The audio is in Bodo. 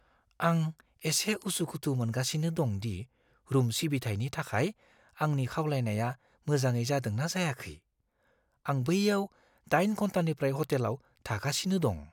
आं एसे उसुखुथु मोनगासिनो दं दि रुम सिबिथायनि थाखाय आंनि खावलायनाया मोजाङै जादों ना जायाखै। आं बैयाव 8 घन्टानिफ्राय हटेलाव थागासिनो दं।